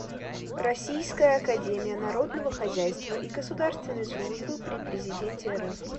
российская академия народного хозяйства и государственной службы при президенте рф